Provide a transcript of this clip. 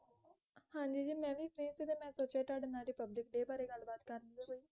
ਹਾਂ ਜੀ ਜੀ ਮੈਂ ਵੀ ਮਿਹਨਤ ਦਾ ਮੈਂ ਸੋਚਿਆ ਤੁਹਾਡੇ ਨਾਲ ਰਿਪਬਲਿਕ ਡੇ ਬਾਰੇ ਗੱਲ ਬਾਤ ਕਰ ਲਿਆ ਕੋਈ